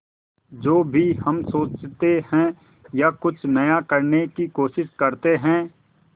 जो भी हम सोचते हैं या कुछ नया करने की कोशिश करते हैं